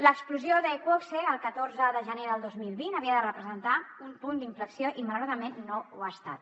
l’explosió d’iqoxe el catorze de gener del dos mil vint havia de representar un punt d’inflexió i malauradament no ho ha estat